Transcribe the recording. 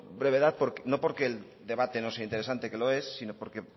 brevedad no porque el debate no sea interesante que lo es sino porque